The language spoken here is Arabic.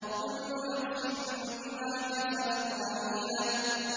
كُلُّ نَفْسٍ بِمَا كَسَبَتْ رَهِينَةٌ